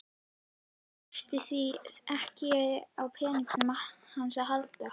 Hún þurfi því ekkert á peningunum hans að halda.